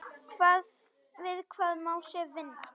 Við hvað má Sif vinna?